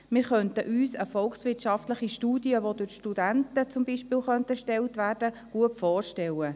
Wir könnten uns eine volkswirtschaftliche, beispielsweise von Studenten erstellte, Studie gut vorstellen.